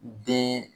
Den